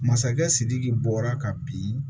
Masakɛ sidiki bɔra ka bin